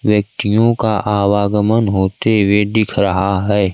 व्यक्तियों का आवागमन होते हुए दिख रहा है।